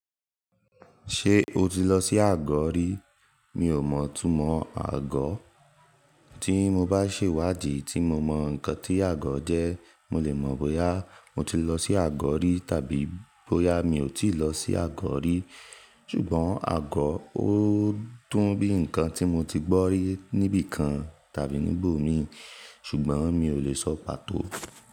Ṣé o ti lọ sí àgọ̀ o rí? Mi ò mọ̀ túnmọ àgọ̀. Tí mo bá ṣèwádìí tí mo mọ ǹkan tí àgọ̀ jẹ́, mo lè mọ̀ bóyá mo ti lọ sí àgọ̀ rí tàbí bóyá mi ò tíì lọ sí àgọ̀ rí. Ṣùgbọ́n àgọ̀ ó dùn bí ǹkan tí mo ti gbọ́ rí níbìkan tàbí níbò mi, ṣùgbọ́n mi ò lè sọ pàtó.